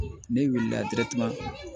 Ne wulila